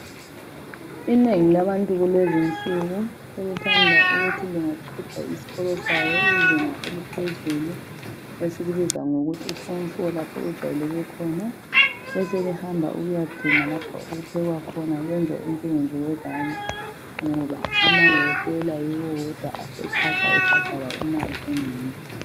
Inengi labantu kulezinsuku sebethanda ukuthi bengaqeda isikolo sabo izinga eliphezulu esikubiza ngokuthi I form 4 lapho okujwayeleke khona beselihamba ukuyadinga lapho okuphekwa khona lenze umsebenzi wezandla ngoba amawetela yiwo wodwa aseqatsha ebhadala imali enengi.